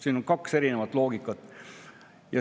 Siin on kaks erinevat loogikat.